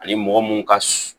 Ani mɔgɔ mun ka s